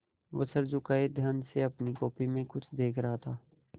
वह सर झुकाये ध्यान से अपनी कॉपी में कुछ देख रहा था